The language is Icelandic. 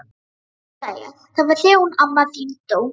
Jú sagði ég, það var þegar hún amma þín dó